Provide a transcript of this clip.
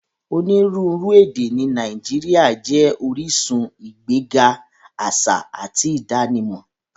Onírúuru èdè ni Nàìjíríà jẹ oríṣun igbẹ̀ga aṣa àti idànímọ